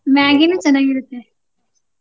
Maggi ನು ಚೆನ್ನಾಗಿರುತ್ತೆ.